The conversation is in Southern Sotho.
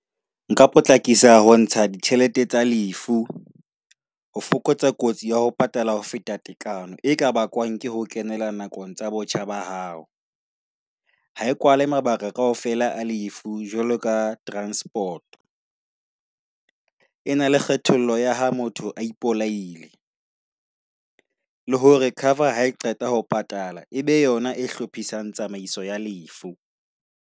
Nka potlakisa ho ntsha ditjhelete tsa lefu ho fokotsa kotsi ya ho patala ho feta tekano e ka bakwang ke ho kenela nakong tsa botjha ba hao. Ha e kwale mabaka kaofela lefu jwalo ka transport. E na le kgethollo ya ha motho o ipolaile le hore cover ha qeta ho patala, ebe yona e hlophisang tsamaiso ya lefu.